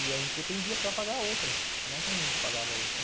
E a gente dependia para pagar a outra, senão como a gente pagava a outra?